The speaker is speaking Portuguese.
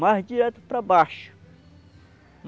Mas, direto para baixo.